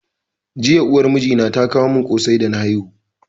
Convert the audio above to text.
Jiya uwar mijina ta kawo mun kosai da na haihu